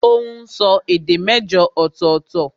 Ó n sọ èdè mẹ́jọ ọ̀tọ̀ọ̀tọ̀